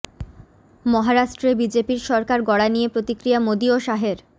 মহারাষ্ট্রে বিজেপির সরকার গড়া নিয়ে প্রতিক্রিয়া মোদী ও শাহের